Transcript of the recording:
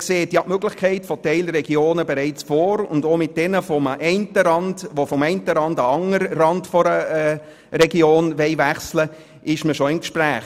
Man sieht ja die Möglichkeit von Teilregionen bereits vor, und man befindet sich bereits mit denjenigen Gemeinden im Gespräch, die vom einen an den anderen Rand einer Region wechseln wollen.